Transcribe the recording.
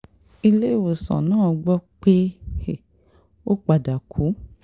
iléèwòsàn náà la gbọ́ pé ó padà kú sí